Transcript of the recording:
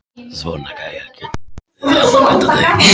Svona gæjar geta orðið vanabindandi!